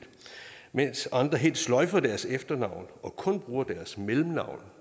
mens andre igen helt sløjfer deres efternavn og kun bruger deres mellemnavn